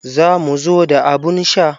Za mu zo da abun sha.